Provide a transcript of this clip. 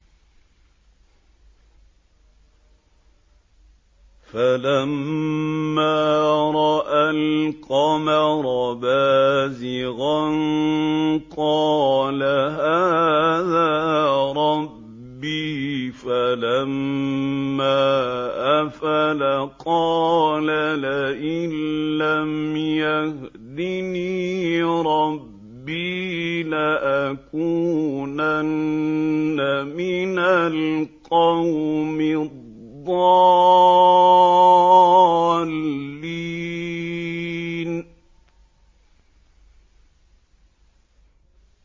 فَلَمَّا رَأَى الْقَمَرَ بَازِغًا قَالَ هَٰذَا رَبِّي ۖ فَلَمَّا أَفَلَ قَالَ لَئِن لَّمْ يَهْدِنِي رَبِّي لَأَكُونَنَّ مِنَ الْقَوْمِ الضَّالِّينَ